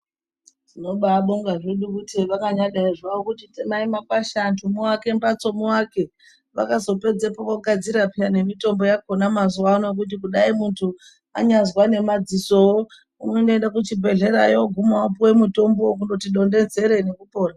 Tinobaabonga zvedu kuti hevakanyadai zvavo kuti temai makwasha antu muvake mbatso muvake. Vakazopedzepo vogadzira peya nemitombo yakona mazuvano yekuti kudai muntu anyazwa nemadzisowo, kundoenda kuchibhedhlerayo oogume opuwe mutombo kundoti donhedzere nekupora.